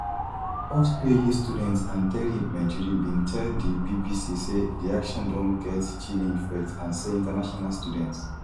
tufts phd student anteri mejr bin tell di bbc say di actions don get chilling effect and say international students